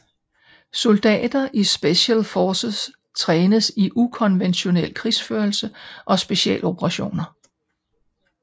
Soldater i Special Forces trænes i ukonventionel krigsførelse og specialoperationer